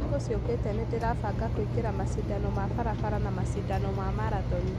"Thikũ ciokete nĩ ndĩrafanga kũingĩra mashidano ya farafara na mashidano ya marathon